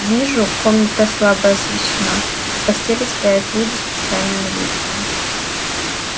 вижу комната слабо освещена у постели стоят люди с печальными лицами